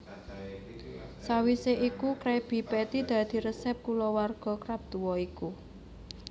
Sawise iku Krabby Patty dadi resep kulawarga Krab tuwa iku